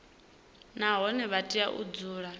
nahone vha tea u dzula